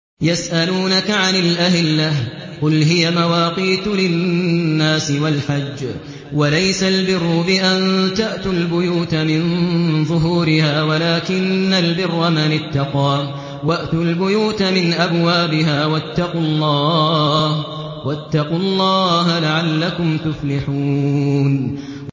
۞ يَسْأَلُونَكَ عَنِ الْأَهِلَّةِ ۖ قُلْ هِيَ مَوَاقِيتُ لِلنَّاسِ وَالْحَجِّ ۗ وَلَيْسَ الْبِرُّ بِأَن تَأْتُوا الْبُيُوتَ مِن ظُهُورِهَا وَلَٰكِنَّ الْبِرَّ مَنِ اتَّقَىٰ ۗ وَأْتُوا الْبُيُوتَ مِنْ أَبْوَابِهَا ۚ وَاتَّقُوا اللَّهَ لَعَلَّكُمْ تُفْلِحُونَ